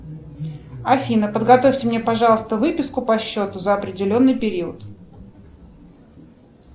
афина подготовьте мне пожалуйста выписку по счету за определенный период